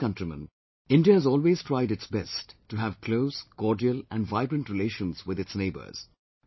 My dear countrymen, India has always tried its best to have close, cordial and vibrant relations with its neighbours